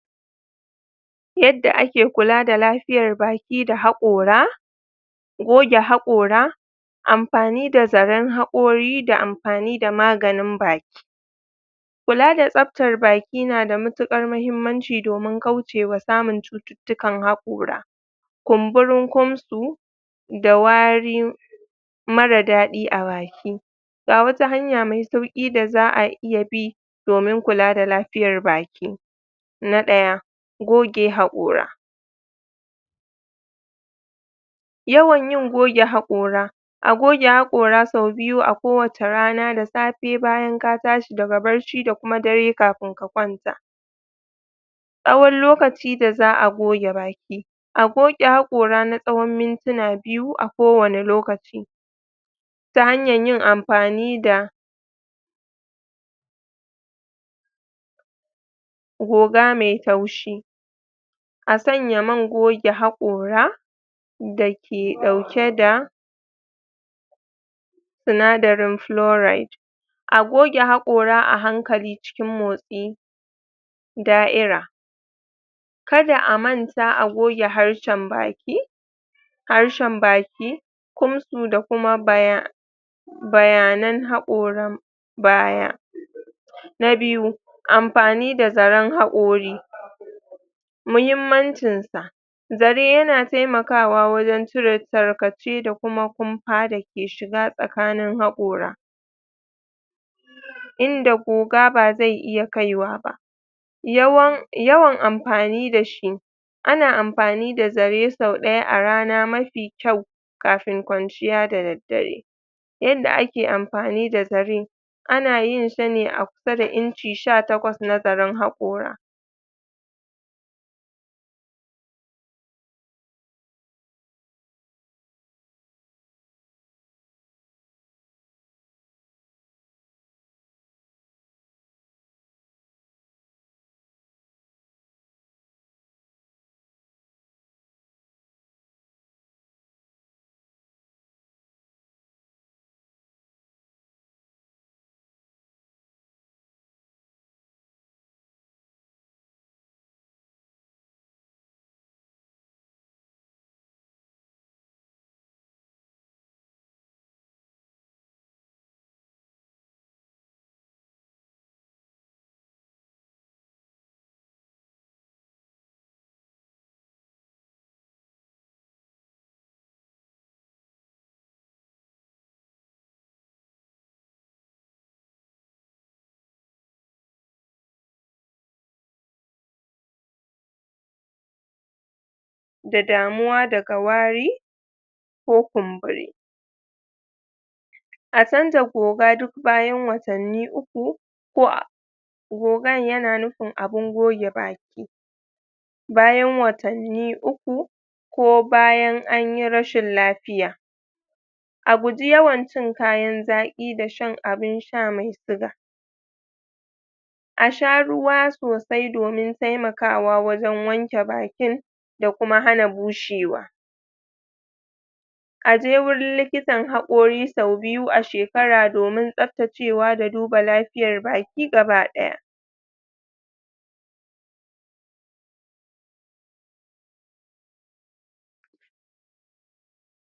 yadda ake kula da lafiyar baki da hakora goge hakora amfani da zaren hakori da amfani da maganin baki kula da tsabtar baki na da matukar mahimmanci domin kaucewa samun dukkan hakora kumburin kumtsu da waari mara dadi a baki ga wasu hanya me auki da zaa iya bi domin kula da lafiyar baki na daya goge hakora a goge hakora sau biyu a kowacce rana da safe bayan ka tashi daga bacci da kuma dare kafin ka kwanta tsawon lokacin da zaa goge baki a goge hakora na tsawon mintina biyu a kowani lokaci ta hanyan yin amfani da goga me taushi a sanya man goge hakora da ke dauke da sinadarin floride a goge hakora a hankali cikin motsi da'ira kada a manta a goge harshen baki harshen baki kumtsu da kuma baya bayanan hakoran baya na biyu amfani da zaren hakori muhimmancinsa zare yana taimakawa wajen cire tarkace da kuma kumfa dake shiga tsakanin hakora inda guga ba zai iya kaiwa ba yawan amfani dashi ana amfani da zare sau daya a rana mafi kyau kafin kwanciya da daddare yadda ake amfani da zare ana yin sa ne a kusa da inchi sha takwas na zaren hakora da damuwa daga wari ko kumburi a chanza goga duk bayan watanni uku ko a gogan yana nufin abun goge baki bayan watanni uku ko bayan anyi rashin lafiya a guji yawan cin kayan zaki da shan abun shaa me yawa a sha ruwa sosai domin taimakawa wajen wanke bakin da kuma hana bushewa aje wajen likitan hakori sau biyu a shekara domin tsabtacewa da duba lafiyar baki gaba daya